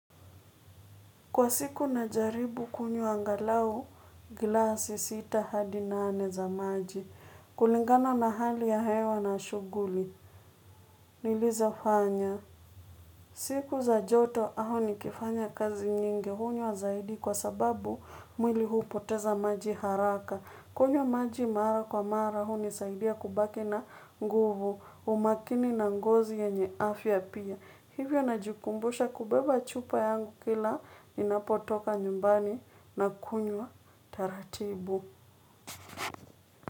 Kwa siku najaribu kunywa angalau glasi sita hadi nane za maji. Kulingana na hali ya hewa na shuguli. Nilizofanya. Siku za joto au nikifanya kazi nyingi hunywa zaidi kwa sababu mwili hupoteza maji haraka. Kunywa maji mara kwa mara hunisaidia kubaki na nguvu umakini na ngozi yenye afya pia. Hivyo najikumbusha kubeba chupa yangu kila ninapotoka nyumbani na kunywa taratibu.